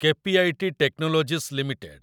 KPIT technologies limited